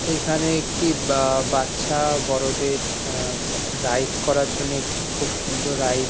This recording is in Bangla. এখানে একটি অ্যা-অ্যা বা বাচ্ছা বড়োদের অ্যা রাইড করার জন্যে একটি খুব সুন্দর রাইড --